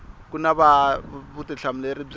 ku va na vutihlamuleri bya